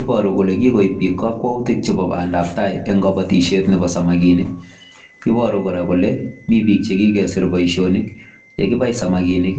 Iboruu kole kikoib biik kakwautiik ab bandap tai en kabatisyeet nebo samakinik iboruu kora kole Mii biik che kikesiir boisionik ye kibai samakinik